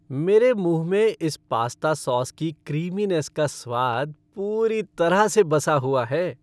मेरे मुँह में इस पास्ता सॉस की क्रीमिनेस का स्वाद पूरी तरह से बसा हुआ है।